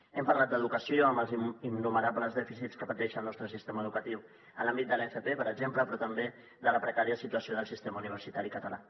hem parlat d’educació amb els innumerables dèficits que pateix el nostre sistema educatiu en l’àmbit de l’fp per exemple però també de la precària situació del sistema universitari català